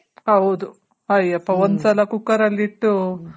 ಹೌದು ಅಯ್ಯಪ್ಪ ಒಂದು ಸಲ ಕುಕ್ಕರಲ್ಲಿಟ್ಟು